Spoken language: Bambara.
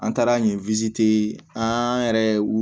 An taara nin an yɛrɛ ye u